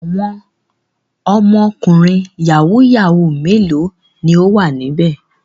Àwọn ọmọkùnrin yahoo yahoo mélòó ni ó wà níbẹ̀?